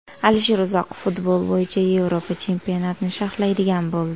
Alisher Uzoqov futbol bo‘yicha Yevropa chempionatini sharhlaydigan bo‘ldi.